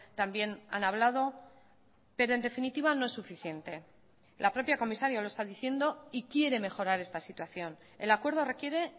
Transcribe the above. también han hablado pero en definitiva no es suficiente la propia comisaria lo está diciendo y quiere mejorar esta situación el acuerdo requiere